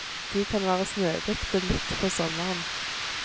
De kan være snødekte midt på sommeren.